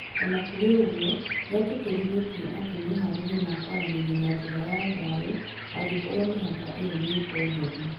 O na kũrĩ ũguo, nĩ atĩtĩrithĩtie atĩ nĩ meharĩirie kwaranĩria na njĩra ya thayũ angĩkorũo mĩhaka ĩyo nĩ ĩkũehero.